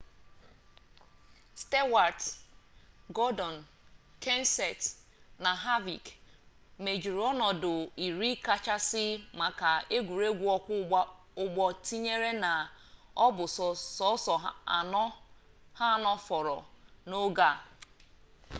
stewart gordon kenseth na harvick mejuru onodu iri kachasi maka egwuregwu okwo ugbo tinyere na o bu so oso ano foro n'oge a